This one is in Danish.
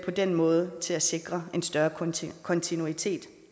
på den måde med til at sikre en større kontinuitet kontinuitet